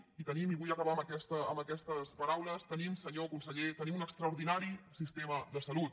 i el tenim i vull acabar amb aquestes paraules tenim senyor conseller un extraordinari sistema de salut